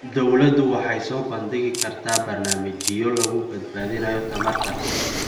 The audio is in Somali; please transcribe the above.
Dawladdu waxay soo bandhigi kartaa barnaamijyo lagu badbaadinayo tamarta.